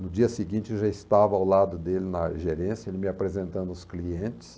No dia seguinte, eu já estava ao lado dele na gerência, ele me apresentando os clientes.